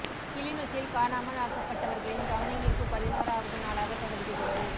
கிளிநொச்சியில் காணாமல் ஆக்கப்பட்டவர்களின் கவனயீர்ப்பு பதினோராவது நாளாக தொடர்கிறது